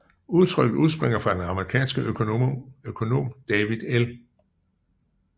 Udtrykket udspringer fra den amerikanske Økonom David L